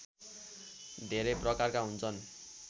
धेरै प्रकारका हुन्छन्